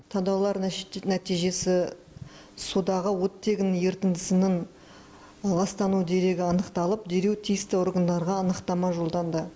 талдаулар нәтижесі судағы оттегінің ерітіндісінің ластану дерегі анықталып дереу тиісті органдарға анықтама жолданды